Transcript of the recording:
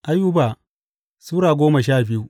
Ayuba Sura goma sha biyu